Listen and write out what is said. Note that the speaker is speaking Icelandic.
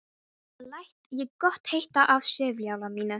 Þetta læt ég gott heita af sifjaliði mínu.